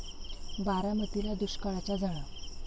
बारामतीला दुष्काळाच्या झळा!